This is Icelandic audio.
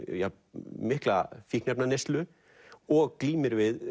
mikla fíkniefnaneyslu og glímir við